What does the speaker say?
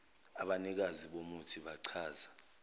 abanikazi bomuthi bachaza